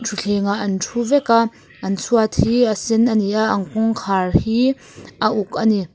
thutthlengah an thu vek a an chhuat hi a sen a ni a an kawngkhar hi a uk a ni thu--